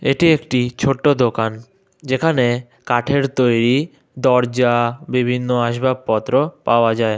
এটি একটি ছোট দোকান যেখানে কাঠের তৈরি দরজা বিভিন্ন আসবাবপত্র পাওয়া যায়।